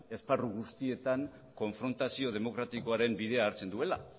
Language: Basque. esparru guztietan konfrontazio demokratikoaren bidea hartzen duela